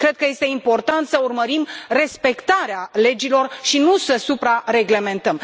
Cred că este important să urmărim respectarea legilor și nu să supra reglementăm.